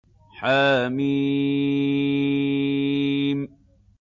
حم